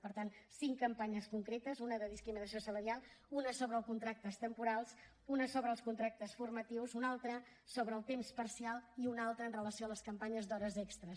per tant cinc campanyes concretes una de discriminació salarial una sobre els contractes temporals una sobre els contractes formatius una altra sobre el temps parcial i una altra amb relació a les campanyes d’hores extra